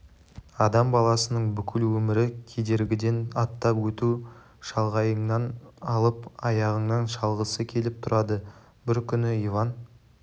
адам баласының бүкіл өмірі кедергіден аттап өту шалғайыңнан алып аяғыңнан шалғысы келіп тұрады бір күні иван